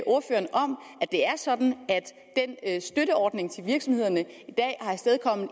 det er sådan at støtteordningen til virksomhederne